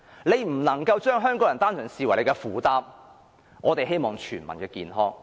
政府不能把香港人單純視為負擔，我們希望做到全民健康。